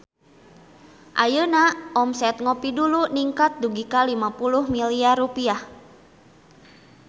Ayeuna omset Ngopie Dulu ningkat dugi ka 50 miliar rupiah